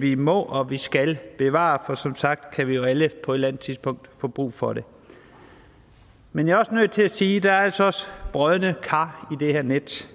vi må og skal bevare for som sagt kan vi jo alle på et eller andet tidspunkt få brug for det men jeg er nødt til at sige at der altså også er brodne kar i det her net